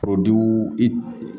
i